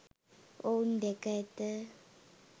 ඔවුන් දැක ඇත.